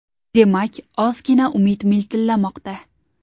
Demak, ozgina umid miltillamoqda.